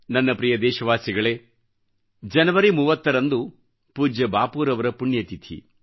ನನ್ನ ಪ್ರೀತಿಯ ದೇಶವಾಸಿಗಳೇಜನವರಿ 30ರಂದು ಪೂಜ್ಯ ಬಾಪೂರವರ ಪುಣ್ಯತಿಥಿ